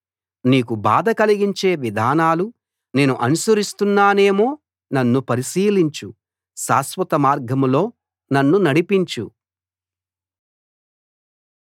నీకు బాధ కలిగించే విధానాలు నేను అనుసరిస్తున్నానేమో నన్ను పరిశీలించు శాశ్వత మార్గంలో నన్ను నడిపించు